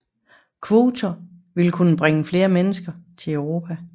Kvoter vil kun bringe flere mennesker til Europa